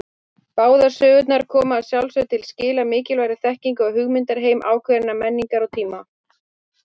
Báðar sögurnar koma að sjálfsögðu til skila mikilvægri þekkingu á hugmyndaheimi ákveðinnar menningar og tíma.